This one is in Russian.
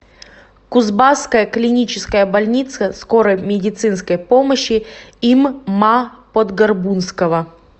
кузбасская клиническая больница скорой медицинской помощи им ма подгорбунского